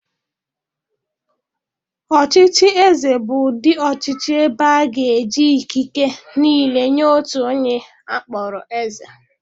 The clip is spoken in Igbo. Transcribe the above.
Ọchịchị eze bụ ụdị ọchịchị ebe a ga-eji ikike niile nyee otu onye a kpọrọ eze.